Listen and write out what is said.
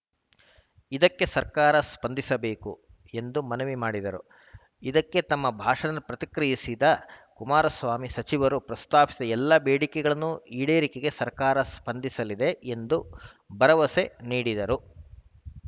ಇದಕ್ಕೆ ಸರ್ಕಾರ ಸ್ಪಂದಿಸಬೇಕು ಎಂದು ಮನವಿ ಮಾಡಿದರು ಇದಕ್ಕೆ ತಮ್ಮ ಭಾಷಣದ ಪ್ರತಿಕ್ರಿಯಿಸಿದ ಕುಮಾರಸ್ವಾಮಿ ಸಚಿವರು ಪ್ರಸ್ತಾಪಿಸಿದ ಎಲ್ಲ ಬೇಡಿಕೆಗಳನ್ನು ಈಡೇರಿಗೆ ಸರ್ಕಾರ ಸ್ಪಂದಿಸಲಿದೆ ಎಂದು ಭರವಸೆ ನೀಡಿದರು